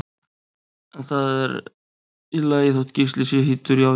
En það er í lagi þótt Gísli sé hýddur, já já!